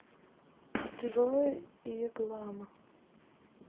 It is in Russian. джой иглама